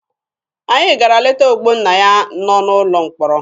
Anyị gara leta Ogbonnaya nọ n'ụlọ mkpọrọ.